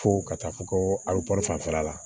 Fo ka taa fɔ ko a bɛ kɔrɔ fanfɛla la